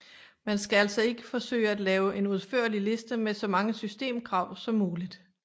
Man skal altså ikke forsøge at lave en udførlig liste med så mange systemkrav som muligt